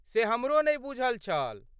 से हमरो नहि बूझल छल।